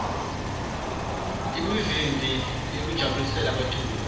imivimbi yekujabulela baculi